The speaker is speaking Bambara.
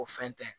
O fɛn tɛ